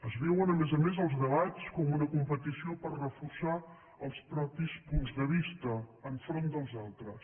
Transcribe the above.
es viuen a més a més els debats com una competició per reforçar els propis punts de vista enfront dels altres